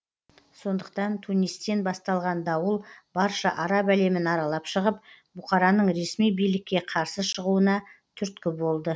сондықтан тунистен басталған дауыл барша араб әлемін аралап шығып бұқараның ресми билікке қарсы шығуына түрткі болды